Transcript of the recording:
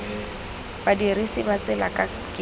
badirisi ba tsela ka kemiso